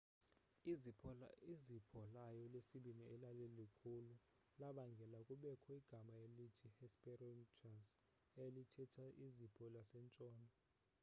izipho layo lesibini elalikhulu labangela kubekho igama elithi hesperonychus elithetha izipho lasentshona